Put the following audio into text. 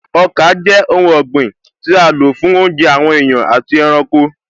Ọkà jẹ́ oun ọ̀gbìn tí a n lò fún oúnjẹ àwọn èèyàn àti ẹranko